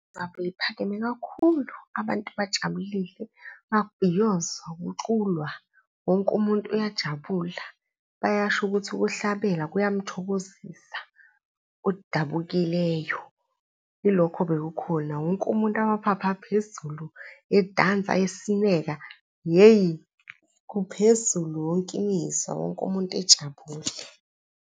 Ngabe liphakeme kakhulu, abantu bajabulile, babhiyoze, kuculwa wonke umuntu uyajabula, bayasho ukuthi ukuhlabela kuyamthokozisa odabukileyo. Yilokho bekukhona, wonke umuntu amaphaphu aphezulu, edansa, esineka, hheyi kuphezulu wonke imizwa, wonke umuntu ejabula.